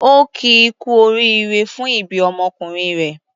Ó kí i kú oríire fún ìbí ọmọkùnrin rẹ̀.